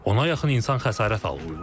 Ona yaxın insan xəsarət alıb.